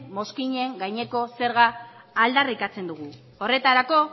mozkinen gaineko zerga aldarrikatzen dugu horretarako